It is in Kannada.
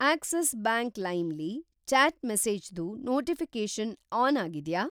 ಆಕ್ಸಿಸ್‌ ಬ್ಯಾಂಕ್‌ ಲೈಮ್ ಲಿ ಚ್ಯಾಟ್‌ ಮೆಸೇಜಸ್‌ದು ನೋಟಿಫಿ಼ಕೇಷನ್ ಆನ್‌ ಆಗಿದ್ಯಾ?